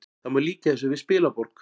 Það má líkja þessu við spilaborg